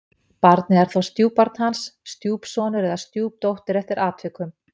Barnið er þá stjúpbarn hans, stjúpsonur eða stjúpdóttir eftir atvikum.